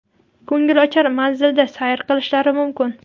ko‘ngilochar manzilda sayr qilishlari mumkin.